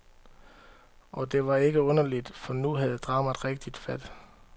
Og det var ikke underligt, for nu havde dramaet rigtigt fat.